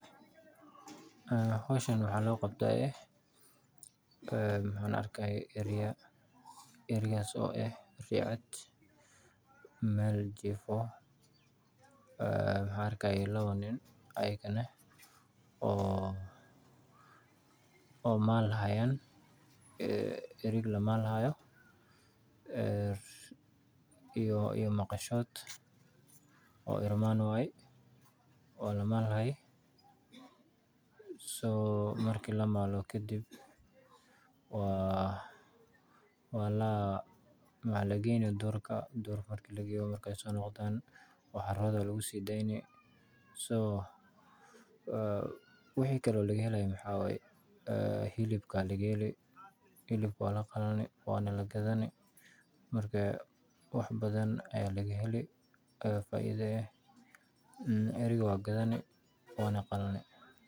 Xowshaan waxa logabta, eh waxan arkaya eriyaa eriyaxas oo eh, riya cad mel jifi, waxaan arkixaya lawa nin ayagana, oo malxayaan, ee erig lamalxayo, ee iyo maqashod oo ian wayee, wa lamal xaay, so, marki lamalo kadib, wa la maxalageyni durka, markay sonogdan maqasha lagusidayni so , wixi kale lagehely maxa wayee xilibka lagahelii, lihibka walacuni wana lagadhani, marka wax badan ayan lagaheli faida eh, en eriga wa qadhani, wanaqalanii.